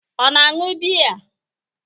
Ọ na-aṅụ biya?